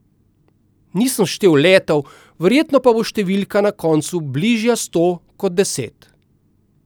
Nisem štel letov, verjetno pa bo številka na koncu bližja sto kot deset.